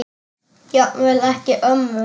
Jafnvel ekki ömmur.